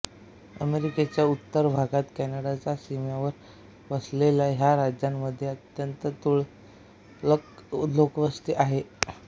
अमेरिकेच्या उत्तर भागात कॅनडाच्या सीमेवर वसलेल्या ह्या राज्यामध्ये अत्यंत तुरळक लोकवस्ती आहे